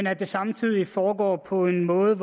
at det samtidig foregår på en måde